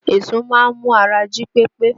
Èso máa ń mú ara jí pépé